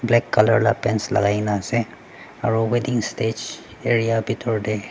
black colour la pants lakai kae na ase aro weeding stage area bitor tae.